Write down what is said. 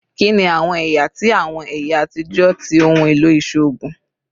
Kini awọn ẹya ti awọn ẹya atijọ ti ohun elo iṣoogun?